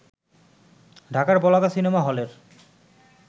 ঢাকার বলাকা সিনেমা হলের